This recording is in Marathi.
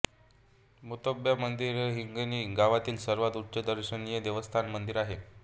मोत्यबा मंदिर हे हिंगणी गावातील सर्वात उंच दर्शनीय देवस्थान मंदिर आहे